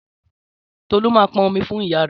Tọlú máa pọn omi fún ìyá re